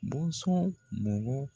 Bɔnsɔn mɔgɔ